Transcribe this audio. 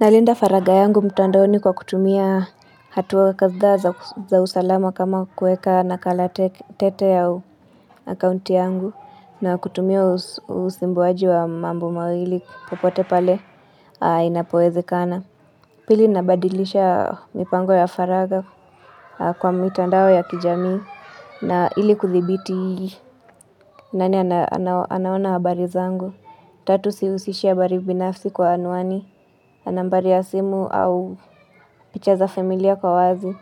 Nalinda faraga yangu mtandaoni kwa kutumia hatuwa kadhaa za usalama kama kueka nakala tete ya akaunti yangu na kutumia usimbuwaji wa mambo mawili popote pale inapoezekana. Pili nabadilisha mipango ya faraga kwa mitandao ya kijamii na ili kuthibiti nani anaona habari zangu. Tatu sihusishi habari binafsi kwa anuani, nambari ya simu au picha za familia kwa wazi.